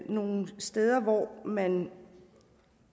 nogle steder hvor man